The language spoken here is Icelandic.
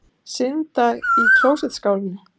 Synda í klósettskálinni.